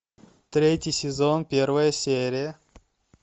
третий сезон первая серия